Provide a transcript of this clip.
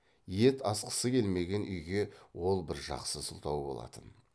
ет асқысы келмеген үйге ол бір жақсы сылтау болатын